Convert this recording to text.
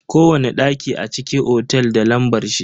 Kowani daki a cikin otel da lambar shi.